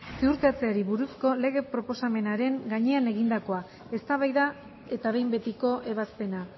ziurtatzeari buruzko lege proposamenaren gainean egindakoa eztabaida eta behin betiko ebazpena